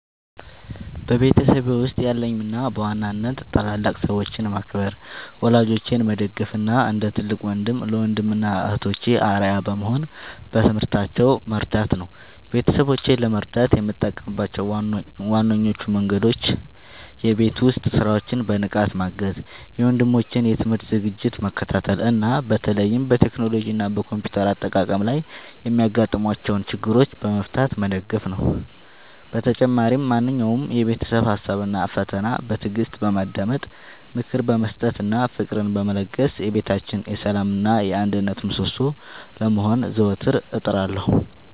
በቤተሰቤ ውስጥ ያለኝ ሚና በዋናነት ታላላቅ ሰዎችን ማክበር፣ ወላጆቼን መደገፍ እና እንደ ትልቅ ወንድም ለወንድም እና እህቶቼ አርአያ በመሆን በትምህርታቸው መርዳት ነው። ቤተሰቦቼን ለመርዳት የምጠቀምባቸው ዋነኞቹ መንገዶች የቤት ውስጥ ሥራዎችን በንቃት ማገዝ፣ የወንድሞቼን የትምህርት ዝግጅት መከታተል እና በተለይም በቴክኖሎጂ እና በኮምፒውተር አጠቃቀም ላይ የሚያጋጥሟቸውን ችግሮች በመፍታት መደገፍ ነው። በተጨማሪም ማንኛውንም የቤተሰብ ሀሳብ እና ፈተና በትዕግስት በማዳመጥ፣ ምክር በመስጠት እና ፍቅርን በመለገስ የቤታችን የሰላም እና የአንድነት ምሰሶ ለመሆን ዘወትር እጥራለሁ።